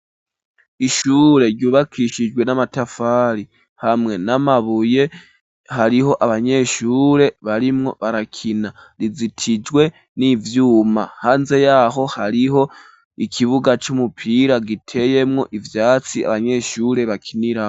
Ishure, ryubakishijwe n'amatafari, hamwe n'amabuye; hariho abanyeshure, barimwo barakina; rizitijwe n'ivyuma, hanze y'aho, hariho ikibuga, c'umupira, giteyemwo ivyatsi, abanyeshure bakiniramwo.